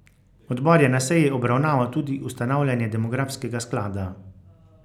Odbor je na seji obravnaval tudi ustanavljanje demografskega sklada.